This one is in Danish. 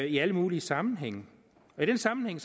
i alle mulige sammenhænge og i den sammenhæng